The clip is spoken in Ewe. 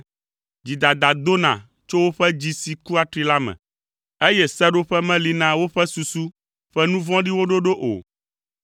Dzidada dona tso woƒe dzi si ku atri la me, eye seɖoƒe meli na woƒe susu ƒe nu vɔ̃ɖiwo ɖoɖo o.